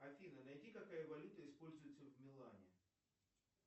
афина найди какая валюта используется в милане